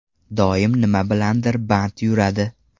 Doim nima bilandir band yuradi.